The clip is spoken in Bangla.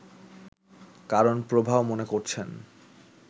কারণ প্রভাও মনে করছেন